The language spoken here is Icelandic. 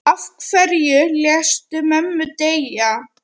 Af hverju léstu mömmu deyja?